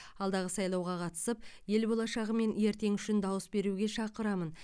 алдағы сайлауға қатысып ел болашағы мен ертеңі үшін дауыс беруге шақырамын